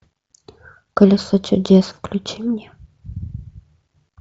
колесо чудес включи мне